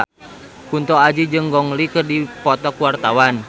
Kunto Aji jeung Gong Li keur dipoto ku wartawan